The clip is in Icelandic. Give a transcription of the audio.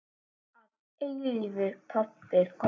Þinn að eilífu, pabbi.